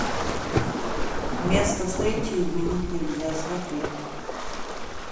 место встречи изменить нельзя смотреть